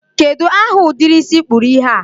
kedụ aha ụdịrị isi ị kpụrụ ihe a?